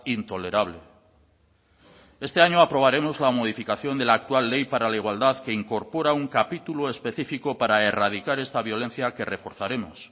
intolerable este año aprobaremos la modificación de la actual ley para la igualdad que incorpora un capítulo específico para erradicar esta violencia que reforzaremos